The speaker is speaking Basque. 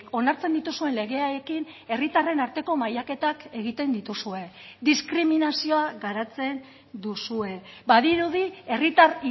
onartzen dituzuen legeekin herritarren arteko mailaketak egiten dituzue diskriminazioa garatzen duzue badirudi herritar